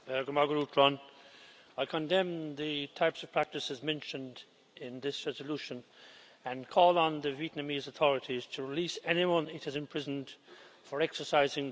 I condemn the types of practices mentioned in this resolution and call on the Vietnamese authorities to release anyone it has imprisoned for exercising their fundamental right.